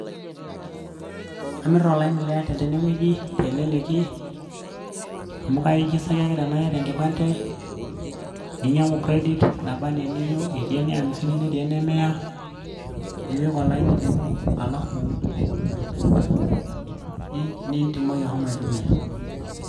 amir olaini le artel teneweji teleleki amu kairijistaki ake tenaa iyata engipante, ninyang'u kredit naba enaa eniyieu etii ene amisini ,neetii ene miya nipik olaini lino alafu nitumoki ahomo atumia.